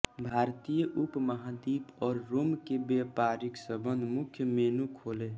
भारतीय उपमहाद्वीप और रोम के व्यापारिक सम्बन्ध मुख्य मेनू खोलें